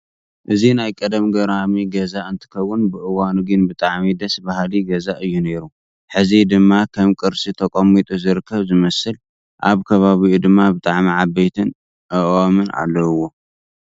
እዚ ናይ ቀደም ገራሚ ገዛ እንትከውን ብእዋኑ ግና ብጣዕሚ ደስ ባሃሊ ገዛ እዩ ነይሩ። ሕዚ ድማ ከም ቅርሲ ተቀሚጡ ዝርከብ ዝመስል። ኣብ ከባቢኡ ድማ ብጣዕሚ ዓበይቲ ኣእዋም ኣለዉዎ።